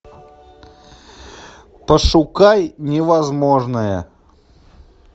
пошукай невозможное